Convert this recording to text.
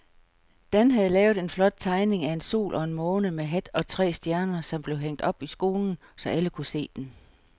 Dan havde lavet en flot tegning af en sol og en måne med hat og tre øjne, som blev hængt op i skolen, så alle kunne se den.